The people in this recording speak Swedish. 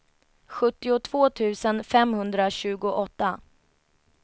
sjuttiotvå tusen femhundratjugoåtta